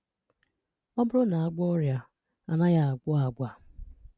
Ọ bụrụ na a gwọọ ọrịa, a naghị agwọ agwa.